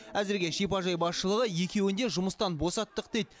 әзірге шипажай басшылығы екеуін де жұмыстан босаттық дейді